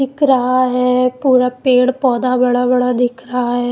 दिख रहा है पूरा पेड़ पौधा बड़ा बड़ा दिख रहा है।